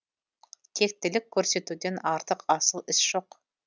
тектілік көрсетуден артық асыл іс жоқ